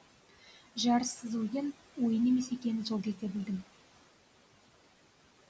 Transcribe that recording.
жарыссыз ойын ойын емес екенін сол кезде білдім